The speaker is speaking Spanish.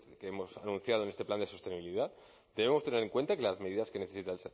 que hemos anunciado en este plan se sostenibilidad debemos tener en cuenta que las medidas que necesita